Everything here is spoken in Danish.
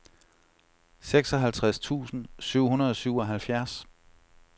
seksoghalvtreds tusind syv hundrede og syvoghalvfjerds